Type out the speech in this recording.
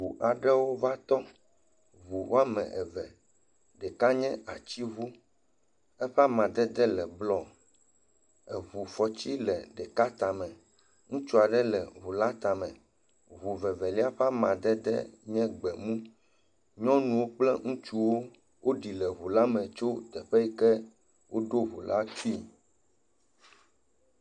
Ʋu aɖewo va tɔ. Ʋu woame eve. Ɖeka nye atiʋu. Eƒe amadede bluɔ Eʋufɔti le ɖeka tame. Ŋutsu aɖe le ʋu la tame. Ʋu vevelia ƒe amadede nye gbemu. Nyɔnu kple ŋutsuwo ɖi le ʋu la me tso teƒe yike woɖo ʋu la tsui